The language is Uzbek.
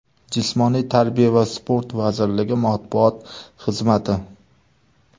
Jismoniy tarbiya va sport vazirligi matbuot xizmati .